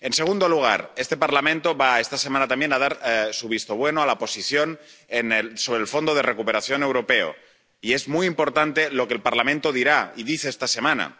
En segundo lugar, este Parlamento, esta semana también, va a dar su visto bueno a la posición sobre el Fondo de Recuperación para Europa, y es muy importante lo que el Parlamento dirá y dice esta semana.